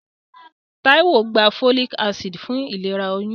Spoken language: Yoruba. Táíwò gba folic acid fún ìlera oyún.